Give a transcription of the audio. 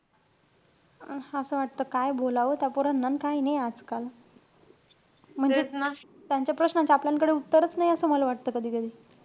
अं असं वाटत काय बोलावं त्या पोरांना अन काई नाई आजकाल. म्हणजे त्यांच्या प्रश्नांचे आपल्यानकडे उत्तरचं नाई. असं मला वाटतं कधी-कधी.